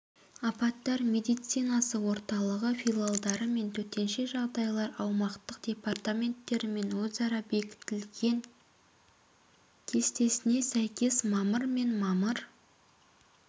апаттар медицинасы орталығы филиалдары мен төтенше жағдайлар аумақтық департаменттерімен өзара бекітілген кестесіне сәйкес мамыр мен мамыр